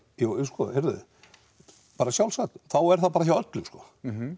jú jú sko heyrðu bara sjálfsagt þá er það bara hjá öllum sko